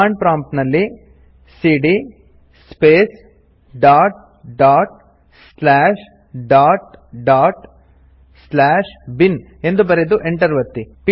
command prompt ನಲ್ಲಿ ಸಿಡಿಯ space dot dot slash dot dot slash bin ಎಂದು ಬರೆದು Enter ಒತ್ತಿ